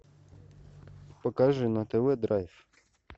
покажи на тв драйв